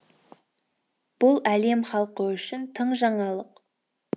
бұл әлем халқы үшін тың жаңалық